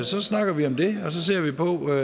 så snakker vi om det og så ser vi på hvordan og